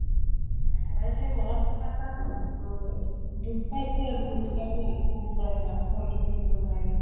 মনত কিবা এটে উম দুখ পাইছে আৰু তথাপিও হয়্তু কব নোৱাৰে মাককো হয়্তু খুলি কব নোৱাৰে।